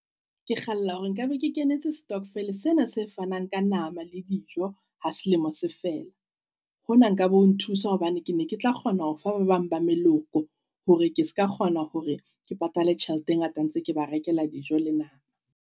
Ke kgalla hore nka be ke kenetse stokvel sena se fanang ka nama le dijo ha selemo se fela. Hona nka be o nthusa hobane ke ne ke tla kgona ho fa ba bang ba meloko. Hore ke ska kgona hore ke patale tjhelete e ngata ntse ke ba rekela dijo le nama.